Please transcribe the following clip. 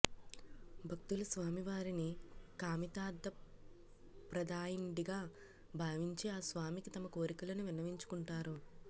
భక్తుల స్వామి వారిని కామితార్థప్రదాయనుడిగా భావించి ఆస్వామికి తమ కోరికలను విన్నవించుకుంటారు